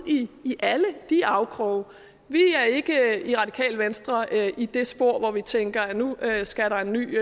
i alle de afkroge vi i radikale venstre er ikke i det spor hvor vi tænker at nu skal der en ny